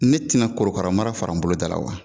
Ne tɛna korokaramara fara n bolodala wa